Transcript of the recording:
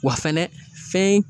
Wa fɛnɛ fɛn